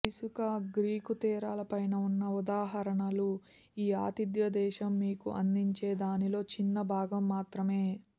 ఇసుక గ్రీకు తీరాల పైన ఉన్న ఉదాహరణలు ఈ ఆతిథ్య దేశం మీకు అందించే దానిలో చిన్న భాగం మాత్రమే